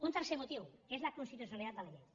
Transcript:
un tercer motiu és la constitucionalitat de la llei